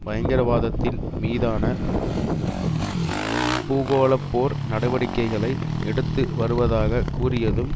பயங்கரவாதத்தின் மீதான பூகோளப்போர் நடவடிக்கைகளை எடுத்து வருவதாக கூறியதும்